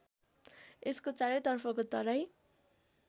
यसको चारैतर्फको तराई